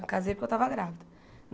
Eu casei porque eu estava grávida.